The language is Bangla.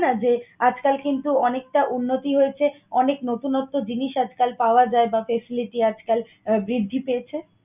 না যে আজকাল কিন্তু অনেকটা উন্নতি হয়েছে, অনেক নতুনত্ব জিনিস আজকাল পাওয়া যায় বা facility আজকাল বৃদ্ধি পেয়েছে?